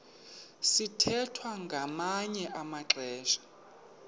sithwethwa ngamanye amaxesha